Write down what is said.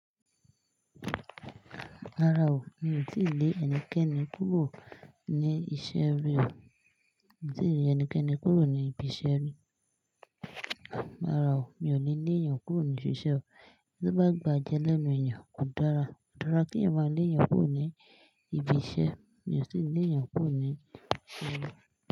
Rárá o, mi ò tíì lé ẹnikẹ́ni kúrò ní iṣẹ́ rí o. Mi ò tíì lé ẹnikẹ́ni kúrò ní ibi iṣẹ́ rí. Rárá o, mi ò le lé èèyàn kúrò ní ibi iṣẹ́ o. Tí ó bá gba jẹ́ lẹ́nu èèyàn, kó dára. kÓ dára kí ẹ̀wọ̀n ma lé èèyàn kúrò ní ibi iṣẹ́. Mi ò tì lé èèyàn kúrò ní ibi.